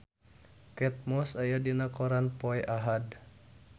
Kate Moss aya dina koran poe Ahad